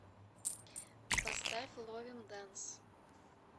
поставь ловим дэнс